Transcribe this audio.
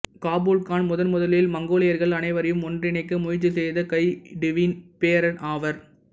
Kabul Khan முதன் முதலில் மங்கோலியர்கள் அனைவரையும் ஒன்றிணைக்க முயற்சி செய்த கைடுவின் பேரன் ஆவார்